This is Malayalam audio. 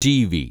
T V